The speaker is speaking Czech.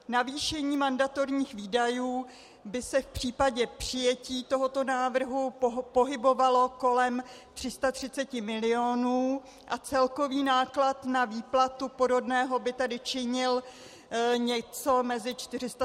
Navýšení mandatorních výdajů by se v případě přijetí tohoto návrhu pohybovalo kolem 330 milionů a celkový náklad na výplatu porodného by tedy činil něco mezi 470 až 480 miliony.